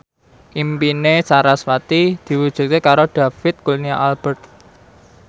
impine sarasvati diwujudke karo David Kurnia Albert